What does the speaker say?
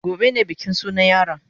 Gobe ne bikin sunan yaron.